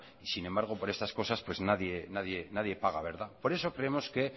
y sin embargo por estas cosas pues nadie paga verdad por eso creemos que